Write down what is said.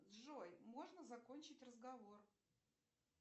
джой можно закончить разговор